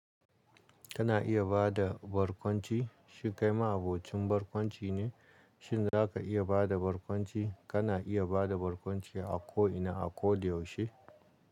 Kana iya ba da barkwanci, shin kai ma abocin barkwanci ne, shin za ka iya ba da barkwanci? Kana iya ba da barkwanci a ko ina, a ko da yaushe.